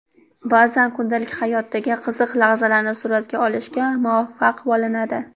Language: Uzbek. Ba’zan kundalik hayotdagi qiziq lahzalarni suratga olishga muvaffaq bo‘linadi.